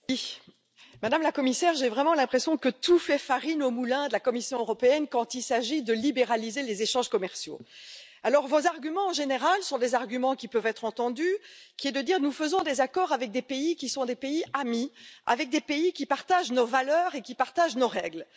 Madame la Présidente, Madame la Commissaire, j'ai vraiment l'impression que tout fait farine au moulin de la Commission européenne quand il s'agit de libéraliser les échanges commerciaux. Vos arguments, en général, sont des arguments qui peuvent être entendus, par exemple nous faisons des accords avec des pays qui sont des pays amis, avec des pays qui partagent nos valeurs et qui partagent nos règles.